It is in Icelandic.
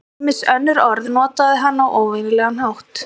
Ýmis önnur orð notaði hann á óvenjulegan hátt.